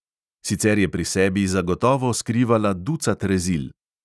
Sicer je pri sebi zagotovo skrivala ducat rezil.